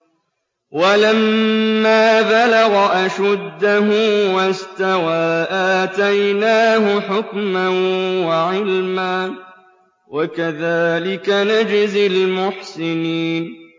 وَلَمَّا بَلَغَ أَشُدَّهُ وَاسْتَوَىٰ آتَيْنَاهُ حُكْمًا وَعِلْمًا ۚ وَكَذَٰلِكَ نَجْزِي الْمُحْسِنِينَ